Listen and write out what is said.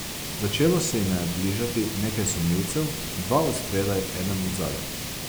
Začelo se jima je bližati nekaj sumljivcev, dva od spredaj, eden od zadaj.